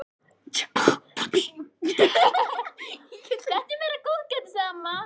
Þetta er meira góðgætið, sagði amma.